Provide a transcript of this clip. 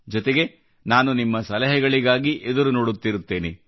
ಜೊತೆಗೆ ನಾನು ನಿಮ್ಮ ಸಲಹೆಗಳಿಗಾಗಿ ಎದುರು ನೋಡುತ್ತಿರುತ್ತೇನೆ